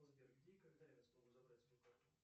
сбер где и когда я смогу забрать свою карту